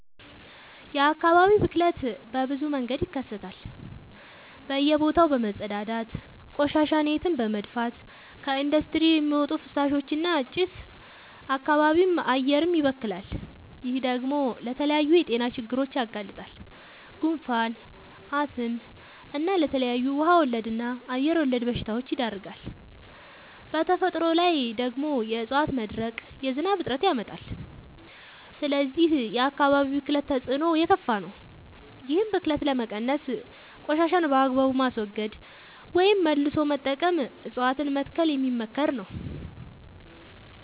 የአካባቢ ብክለት በብዙ መንገድ ይከሰታል በእየ ቦታው በመፀዳዳት፤ ቆሻሻን የትም በመድፍት፤ ከኢንዲስትሪ በሚወጡ ፍሳሾች እና ጭስ አካባቢም አየርም ይበከላል። ይህ ደግሞ ለተለያዩ የጤና ችግሮች ያጋልጣል። ጉንፋን፣ አስም እና ለተለያዩ ውሃ ወለድ እና አየር ወለድ በሽታወች ይዳርጋል። በተፈጥሮ ላይ ደግሞ የዕፀዋት መድረቅ የዝናብ እጥረት ያመጣል። ስለዚህ የአካባቢ ብክለት ተፅዕኖው የከፋ ነው። ይህን ብክለት ለመቀነስ ቆሻሻን በአግባቡ ማስወገድ ወይም መልሶ መጠቀም እፀዋትን መትከል የሚመከር ነው።